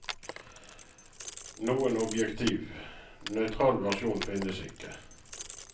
Noen objektiv, nøytral versjon finnes ikke.